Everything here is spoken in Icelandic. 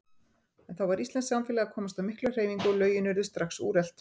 En þá var íslenskt samfélag að komast á mikla hreyfingu, og lögin urðu strax úrelt.